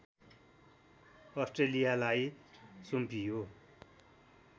अस्ट्रेलियालाई सुम्पियो